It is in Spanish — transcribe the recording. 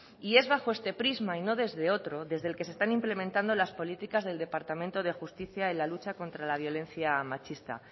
es bajo este prisma y no desde otro desde que se están implementando las políticas del departamento de justicia en la lucha contra la violencia machista